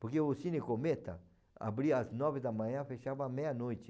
Porque o Cine Cometa abria às nove da manhã e fechava à meia-noite.